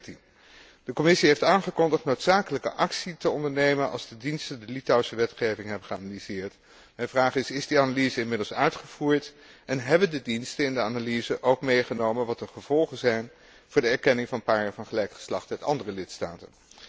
2013? De Commissie heeft aangekondigd noodzakelijke actie te ondernemen, als de diensten de Litouwse wetgeving hebben geanalyseerd en mijn vraag is Is die analyse inmiddels uitgevoerd en hebben de diensten in de analyse ook meegenomen wat de gevolgen zijn voor de erkenning van paren van gelijk geslacht uit andere lidstaten?